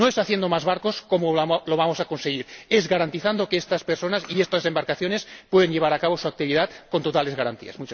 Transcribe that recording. No es haciendo más barcos como lo vamos a conseguir, es garantizando que estas personas y estas embarcaciones puedan llevar a cabo su actividad con totales garantías.